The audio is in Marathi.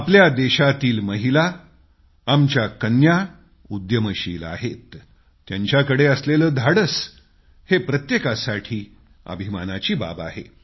आपल्या देशाच्या महिला आमच्या कन्या उद्यमशील आहेत त्यांच्याकडे असलेलं धाडस हे प्रत्येकासाठी अभिमानाची बाब आहे